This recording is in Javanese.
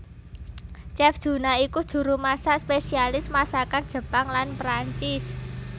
Chef Juna iku juru masak spesialis masakan Jepang lan Prancis